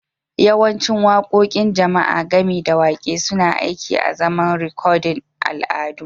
Yawancin waƙoƙin jama'a, gami da waƙe, suna aiki azaman rikodin al'adu